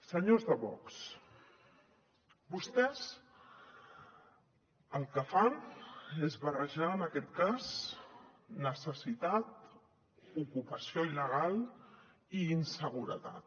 senyors de vox vostès el que fan és barrejar en aquest cas necessitat ocupació il·legal i inseguretat